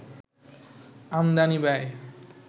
আমদানি ব্যয়